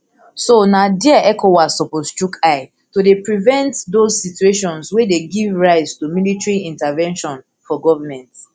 so na dia ecowas suppose chook eye to dey prevent dose situations wey dey give rise to military intervention for goment